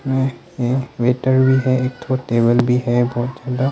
ये है वेटर भी है एक थो टेबल भी है बहुत सारा।